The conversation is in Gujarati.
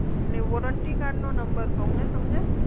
એટલે વોરંટી કાર્ડનો નંબર કહું ને તમને?